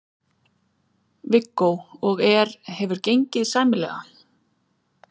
Viggó: Og er, hefur gengið sæmilega?